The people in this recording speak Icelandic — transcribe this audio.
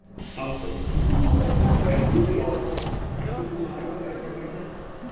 Hafþór: Er búið að, ertu búin að æfa þig eitthvað fyrir keppnina?